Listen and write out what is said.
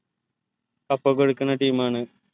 cup ഒക്കെ എട്ക്ക്ണ team ആണ്